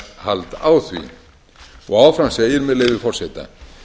eignarhald á því og áfram segir með leyfi forseta